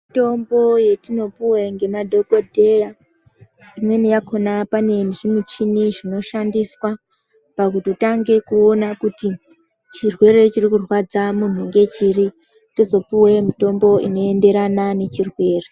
Mitombo yetinopuwe ngemadhokodheya imweni yakona panezvimuchini zvinotoshandiswa pakutotange kuona kuti chirwere chirikurwadza munhu ngechiri topuwe mutombo inoenderana nechirwere.